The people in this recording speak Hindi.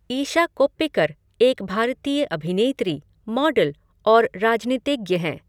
ईशा कोप्पिकर एक भारतीय अभिनेत्री, मॉडल और राजनीतिज्ञ हैं।